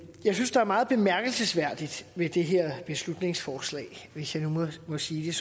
jeg synes der er meget bemærkelsesværdigt ved det her beslutningsforslag hvis jeg nu må sige